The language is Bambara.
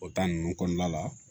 O ninnu kɔnɔna la